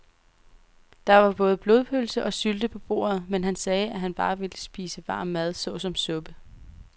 Der var både blodpølse og sylte på bordet, men han sagde, at han bare ville spise varm mad såsom suppe.